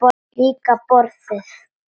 Líka borðið.